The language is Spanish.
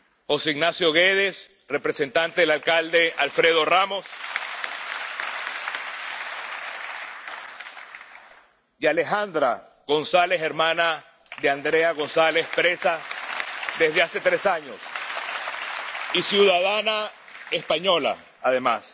José Ignacio Guédez, representante del alcalde Alfredo Ramos, y Alejandra González, hermana de Andrea González, presa desde hace tres años y ciudadana española, además